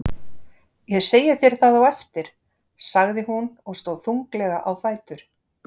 Ég segi þér það á eftir, sagði hún og stóð þunglega á fætur.